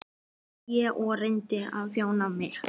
sagði ég og reyndi að jafna mig.